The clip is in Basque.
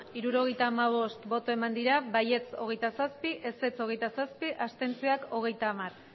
hirurogeita hamabost bai hogeita zazpi ez hogeita zazpi abstentzioak